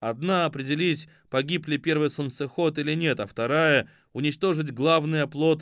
одна определить погиб ли первый солнцеход или нет а вторая уничтожить главный оплот